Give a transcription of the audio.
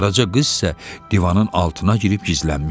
Qaraca qız isə divanın altına girib gizlənmişdi.